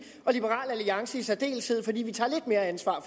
og af liberal alliance i særdeleshed fordi vi tager lidt mere ansvar